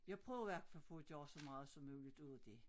Jeg prøvede i hvert fald få gøre så meget ud af dét